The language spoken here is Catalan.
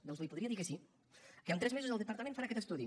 doncs li podria dir que sí que en tres mesos el departament farà aquest estudi